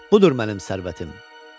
Budur mənim sərvətim.